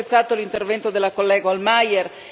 Ho molto apprezzato l'intervento della collega Hohlmeier.